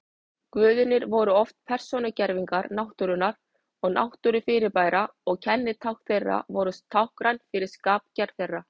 Guðirnir voru oft persónugervingar náttúrunnar og náttúrufyrirbæra og kennitákn þeirra voru táknræn fyrir skapgerð þeirra.